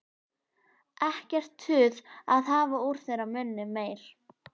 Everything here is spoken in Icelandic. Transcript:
Ekkert tuð að hafa úr þeirra munni meir.